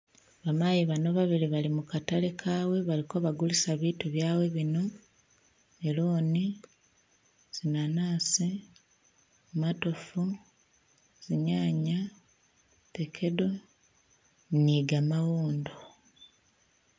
Ba mayi bano babili bali mu ka tale kawe baliko bagulisa bitu byawe bino melon, zinanasi, matofu, zinyanya, fekedo ni ga mawondo.